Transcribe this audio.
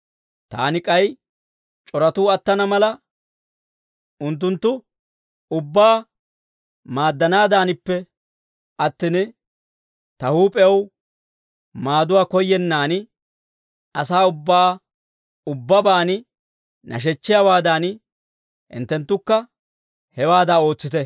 Taani k'ay c'oratuu attana mala, unttunttu ubbaa maaddanaadaanippe attin, ta huup'ew maaduwaa koyyennaan, asaa ubbaa ubbabaan nashechchiyaawaadan, hinttenttukka hewaada ootsite.